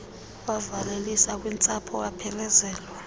wavalelisa kwintsapho waphelezelwa